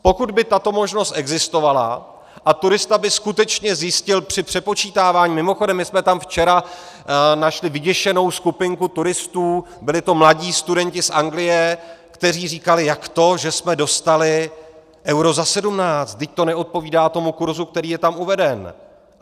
Pokud by tato možnost existovala a turista by skutečně zjistil při přepočítávání - mimochodem my jsme tam včera našli vyděšenou skupinku turistů, byli to mladí studenti z Anglie, kteří říkali jak to, že jsme dostali euro za 17, vždyť to neodpovídá tomu kurzu, který je tam uveden.